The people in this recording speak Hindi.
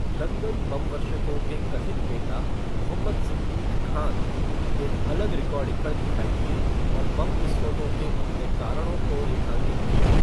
लंदन बमवर्षकों के कथित नेता, मोहम्मद सिद्दीक खान, एक अलग रिकॉर्डिंग पर दिखाई दिए और बम विस्फोटों के अपने कारणों को रेखांकित किया।